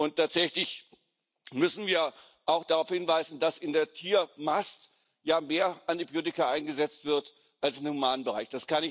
Und tatsächlich müssen wir auch darauf hinweisen, dass in der Tiermast ja mehr Antibiotika eingesetzt werden als im Humanbereich.